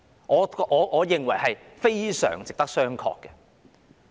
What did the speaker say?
我認為這是非常值得商榷的。